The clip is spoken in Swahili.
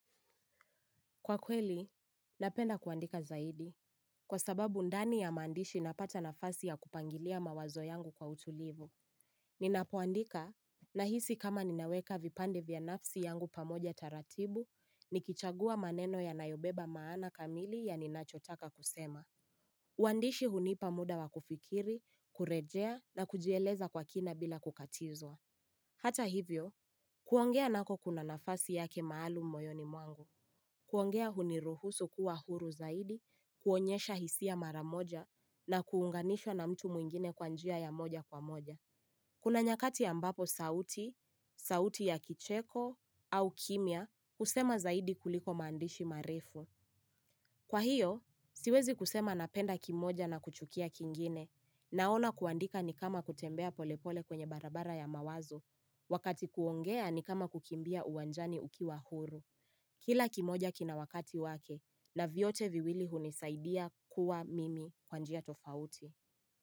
Kwa kweli, napenda kuandika zaidi. Kwa sababu ndani ya mandishi napata nafasi ya kupangilia mawazo yangu kwa utulivu. Ninapoandika, nahisi kama ninaweka vipande vya nafsi yangu pamoja taratibu, nikichagua maneno ya nayobeba maana kamili ya ninachotaka kusema. Wandishi hunipa muda wa kufikiri, kurejea na kujieleza kwa kina bila kukatizwa. Hata hivyo, kuongea nako kuna nafasi yake maalum mboyoni mwangu. Kuongea huniruhusu kuwa huru zaidi, kuonyesha hisi ya maramoja na kuunganisho na mtu muingine kwanjia ya moja kwa moja. Kuna nyakati ambapo sauti, sauti ya kicheko au kimia kusema zaidi kuliko mandishi marifu. Kwa hiyo, siwezi kusema napenda kimoja na kuchukia kingine na ona kuandika ni kama kutembea polepole kwenye barabara ya mawazo. Wakati kuongea ni kama kukimbia uwanjani uki wa huru. Kila kimoja kina wakati wake na viyote viwili hunisaidia kuwa mimi kwanjia tofauti.